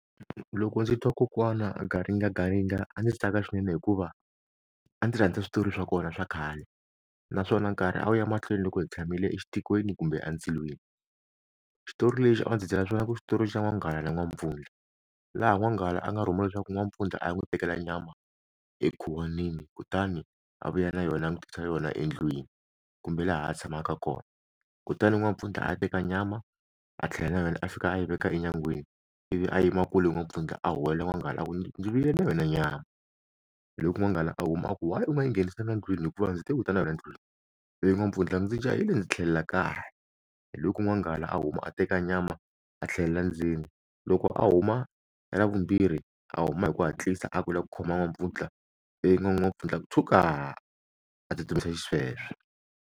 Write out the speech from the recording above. Loko ndzi twa kokwana garingagaringa a ndzi tsaka swinene hikuva a ndzi rhandza switori swa kona swa khale naswona nkarhi a wu ya mahlweni loko hi tshamile kumbe endzilweni xitori lexi a ndzi byela swona ku xitori xa n'wanghala n'wampfundla laha n'wanghala a nga rhumiwa leswaku n'wampfundla a n'wi tekela nyama emakhwatini kutani a vuya na yona a n'wi tisela yona endlwini kumbe laha a tshamaka kona kutani n'wampfundla a teka nyama a tlhela na yena a fika a yi veka enyangwini a yimela a kule n'wampfundla a huwelela n'wanghala a ku ndzi vuyile na yona nyama loko n'wanghala a huma a ku why u nga nghenisanga ndlwini hikuva ndzi te u ta na yona a ndlwini i vi n'wampfundla ndzi jahile ndzi tlhelela kaya hi loku n'wanghala a huma a teka nyama a tlhelela ndzeni loko a huma ra vumbirhi a huma hi ku hatlisa a ku u lava ku khoma n'wampfundla ivi n'wampfundla tshuka a tsutsumisa sweswo.